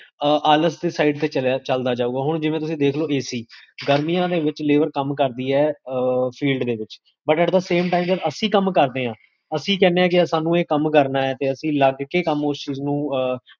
ਆਲਸ ਦੀ ਸਾਇਡ ਤੇ ਚਲਦਾ ਜਾਉਗਾ, ਹੁਣ ਜਿਵੇਂ ਤੁਸੀਂ ਦੇਖਲੋ, ac, ਗਰਮੀਆਂ ਦੇ ਵਿੱਚ labour ਕਮ ਕਰਦੀ ਹੈ field ਦੇ ਵਿੱਚ but at the same time ਜਦ ਅਸੀਕਮ ਕਰਦੇ ਹਾਂ, ਅਸੀ ਕਹੰਦੇ ਆ ਕੇ ਸਾਨੂ ਇਹ ਕਮ ਕਰਨਾ ਹੈ ਤੇ ਅਸੀ ਲਗ ਕੇ ਓਸ ਚੀਜ਼ ਨੂੰ